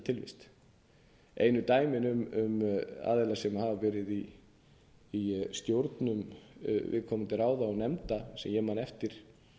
tilvist einu dæmin um aðila sem hafa verið í stjórnum viðkomandi ráða og nefnda sem ég man eftir